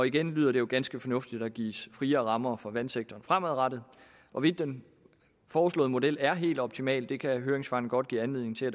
igen lyder det jo ganske fornuftigt at der gives friere rammer for vandsektoren fremadrettet hvorvidt den foreslåede model er helt optimal kan høringsfasen godt give anledning til at